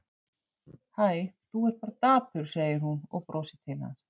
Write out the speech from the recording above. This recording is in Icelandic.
Hæ, þú ert bara dapur, segir hún og brosir til hans.